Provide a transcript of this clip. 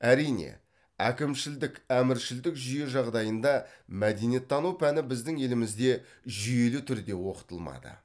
әрине әкімшілдік әміршілдік жүйе жағдайында мәдениеттану пәні біздің елімізде жүйелі түрде оқытылмады